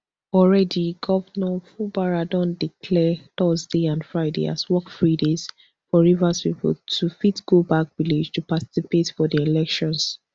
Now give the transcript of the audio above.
already governor fubara don declare thurday and friday as work free days for rivers pipo to fit go back village to particapte for di elections